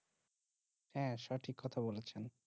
হ্যাঁ সঠিক কথা বলেছেন।